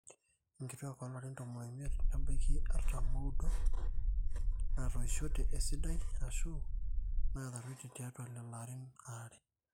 inkituqak oolarin tomon oimiet nebaiki artam ooudo naatoishote esidai aashu naataruetie tiatwa lelo arin aare